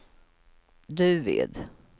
Duved